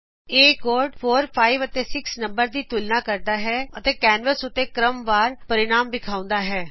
ਇਹ ਕੋਡ 4 5 ਅਤੇ 6 ਨੰਬਰਾ ਦੀ ਤੁਲਨਾ ਕਰਦਾ ਹੈ ਅਤੇ ਕੈਨਵਸ ਉਤੇ ਕ੍ਰਮਵਾਰ ਪਰਿਣਾਮ ਵਿਖਾਉਂਦਾ ਹੈ